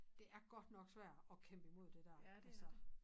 Det er godt nok svært at kæmpe i mod det dér altså